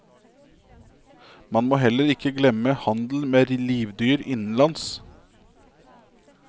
Man må heller ikke glemme handel med livdyr innenlands.